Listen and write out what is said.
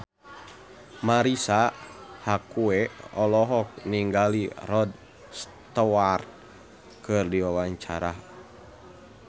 Marisa Haque olohok ningali Rod Stewart keur diwawancara